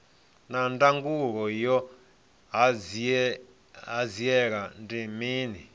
naa ndangulo ya hanziela ndi mini